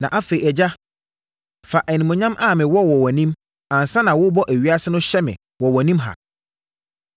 Na afei, Agya, fa animuonyam a mewɔ wɔ wʼanim ansa na worebɔ ewiase no hyɛ me wɔ wʼanim ha.